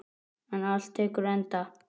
En allt tekur enda.